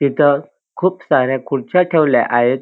तिथ खूप साऱ्या खुर्च्या ठेवल्या आहेत.